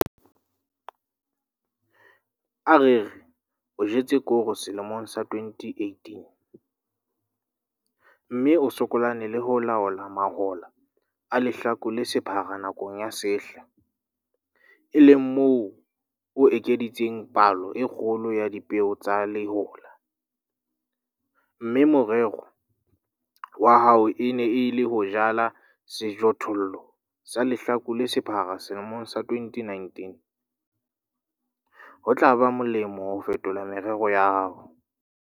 A re re, o jetse koro selemong sa 2018, mme o sokolane le ho laola mahola a lehlaku le sephara nakong ya sehla, e leng moo o ekeditseng palo e kgolo ya dipeo tsa lehola, mme morero wa hao e ne e le ho jala sejothollo sa lehlaku le sephara selemong sa 2019, ho tla ba molemo ho fetola merero ya hao.